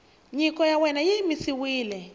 nyiko ya wena yi yimisiwile